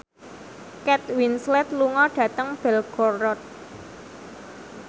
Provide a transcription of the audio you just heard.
Kate Winslet lunga dhateng Belgorod